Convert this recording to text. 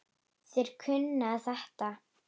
Þeir kunna þetta.